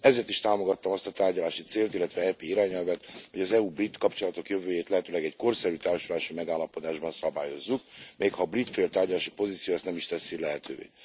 Ezért is támogattam azt a tárgyalási célt, illetve EP irányelvet, hogy az EU brit kapcsolatok jövőjét lehetőleg egy korszerű társulási megállapodásban szabályozzuk, mégha a brit fél tárgyalási poziciója ezt nem is teszi lehetővé.